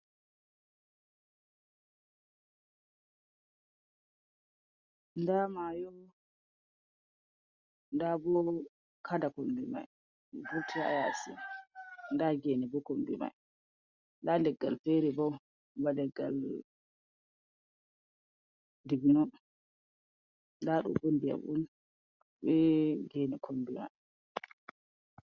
Nda mayo, ndalbo kada kombi mai, vuti ha yasi, nda gene bo kumbimai nda leggal feri bo ba ligal dibino nda ɗo bo ndiyam on be geene kombi mai.